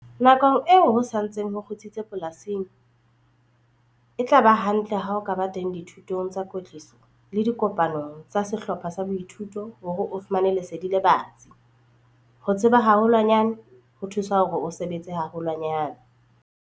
Nakong eo ho sa ntseng ho kgutsitse polasing, e tla ba hantle ha o ka ba teng dithutong tsa kwetliso le dikopanong tsa sehlopha sa boithuto hore o fumane lesedi le batsi - ho tseba haholwanyane ho thusa hore o sebetse haholwanyane!